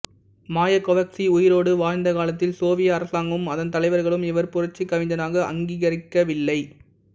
Mayakovsky உயிரோடு வாழ்ந்த காலத்தில் சோவியத் அரசாங்கமும் அதன் தலைவர்களும் இவரைப் புரட்சிக் கவிஞனாக அங்கிகரிக்கவில்லை